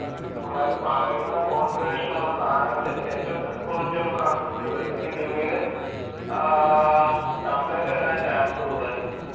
പുള്ളാര് പറയുന്ന കോൺഫിഗറേഷൻ ഉള്ള സാധനങ്ങള് ഏറ്റവും ബെസ്ററ് ക്വാളിറ്റി ഉള്ള സാധനം വെച്ച് വിടും. ഇല്ലങ്കിൽ പിന്നീട് ആഹ് കംപ്ലയിന്റ് വരാൻ ചാൻസ് കൂടുതലാ.